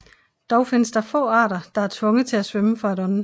Dog findes der få arter der er tvunget til at svømme for at ånde